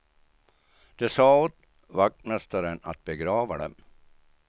De sade åt vaktmästaren att begrava dem.